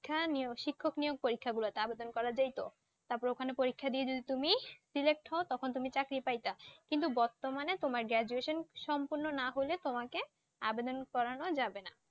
শিক্ষা নিও শিক্ষক নিয়োগ পরীক্ষাগুলোতে আবেদন করা যায় তো তারপর ওখানে পরীক্ষা দিয়ে যদি তুমি Select হও তখন তুমি চাকরি পাইতা কিন্তু বর্তমানে তোমার Graduation সম্পূর্ণ না হলে তোমাকে আবেদন করানো যাবে না